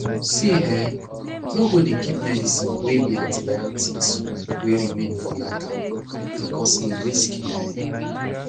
see eh no go dey keep medicine wey be antibiotics wey remain for lata becoz e risky die